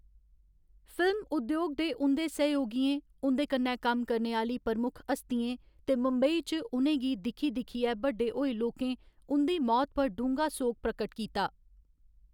Film उद्योग च उं'दे सैहयोगियें, उं'दे कन्नै कम्म करने आह्‌ली प्रमुख हस्तियें ते मुंबई च उ'नें गी दिक्खी दिक्खियै बड्डे होए लोकें उं'दी मौत पर डूंह्‌गा सोग प्रकट कीता।